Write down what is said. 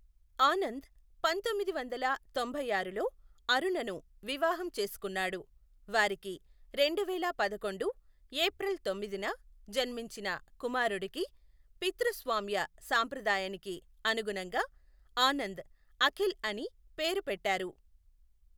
ఆనంద్ పంతొమ్మిది వందల తొంభై ఆరులో అరుణను వివాహం చేసుకున్నాడు, వారికి రెండువేల పదకొండు ఏప్రిల్ తొమ్మిదిన జన్మించిన కుమారుడికి పితృస్వామ్య సాంప్రదాయానికి అనుగుణంగా ఆనంద్ అఖిల్ అని పేరు పెట్టారు.